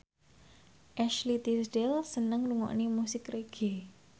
Ashley Tisdale seneng ngrungokne musik reggae